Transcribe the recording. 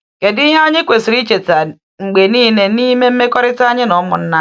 Kedu ihe anyị kwesịrị icheta mgbe niile n’ime mmekọrịta anyị na ụmụnna anyị?